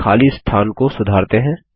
अब खाली स्थान को सुधारते हैं